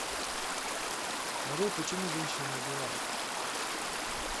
нарой почему женщины убивают